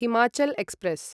Himachal express